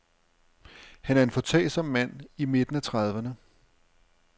Han er en foretagsom mand i midten af trediverne.